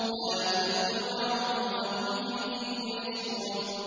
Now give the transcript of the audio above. لَا يُفَتَّرُ عَنْهُمْ وَهُمْ فِيهِ مُبْلِسُونَ